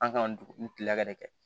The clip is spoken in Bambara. An kan dugu kile la ka de kɛ